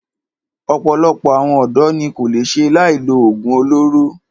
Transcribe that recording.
Ọ̀pọ̀lọpọ̀ àwọn ọ̀dọ́ ní kò lè ṣe láì lo oògùn olóró.